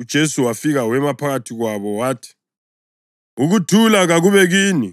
uJesu wafika wema phakathi kwabo wathi, “Ukuthula kakube kini!”